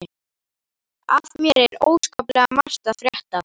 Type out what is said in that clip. Af mér er óskaplega margt að frétta.